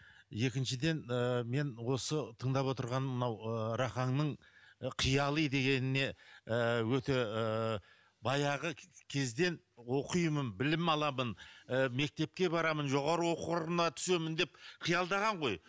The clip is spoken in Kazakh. екіншіден ы мен осы тыңдап отырғаным мынау ы рахаңның қияли дегеніне ыыы өте ыыы баяғы кезден оқимын білім аламын ы мектепке барамын жоғарғы оқу орына түсемін деп қиялдаған ғой